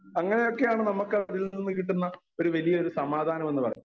Speaker 1 അങ്ങനെ ഒക്കെ ആണ് നമ്മക്കതിൽ നിന്ന് കിട്ടുന്ന ഒരു വലിയ സമാധാനം എന്നു പറയുന്നത്.